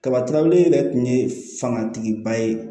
Kaba tulabele yɛrɛ tun ye fangatigiba ye